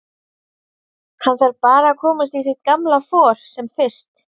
Hann þarf bara að komast í sitt gamla for sem fyrst.